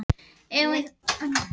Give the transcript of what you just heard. Eigum við þá að segja stríðinu lokið?